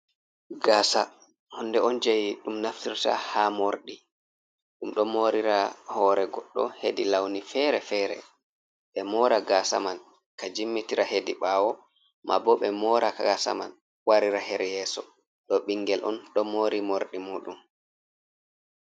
Gaasa honde on je ɗum naftirta ha morɗi ɗum ɗo morira hore goɗɗo hedi lawni fere-fere. ɓe mora gasa man ka jimmitira hedi bawo, ma bo ɓe mora gasa man warira her yeso. ɗo ɓingel on ɗo mori morɗi muɗum.